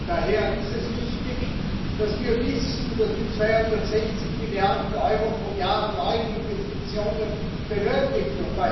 Daher ist es wichtig, dass wir wissen, dass wir 260 Milliarden Euro pro Jahr an neuen Investitionen benötigen.